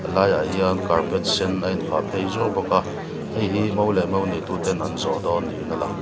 laiah hian carpet sen a inphah phei zuau bawk a heihi mo leh mo neitu ten an zawhdawn niin a lang.